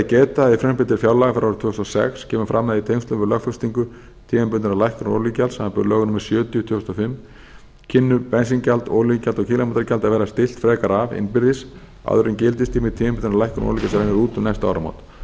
geta að í frumvarpi til fjárlaga fyrir árið tvö þúsund og sex kemur fram að í tengslum við lögfestingu tímabundinnar lækkunar olíugjalds samanber lög númer sjötíu tvö þúsund og fimm kemur bensíngjald olíugjald og kílómetragjald að verða stillt frekar af innbyrðis áður en gildistími tímabundinnar lækkunar olíugjalds rennur út um næstu áramót